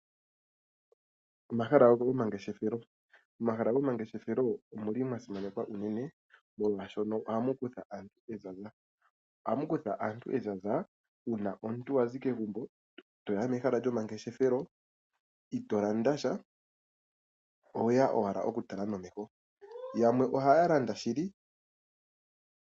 Omahala gomangeshefelo omahala gomangeshefelo omuli mwa simanekwa unene molwashoka ohamu kuthwa aantu ezaza ohamu kutha aantu ezaza uuna wa zi kegumbo netoya mehala lyomangeshefelo ito landa sha owe ya ashike okutala nomeho yamwe ohaya landa shili .